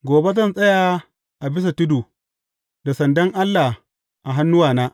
Gobe zan tsaya a bisa tudu, da sandan Allah a hannuwana.